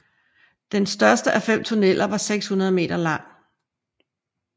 Den største af fem tunneller var 600 meter lang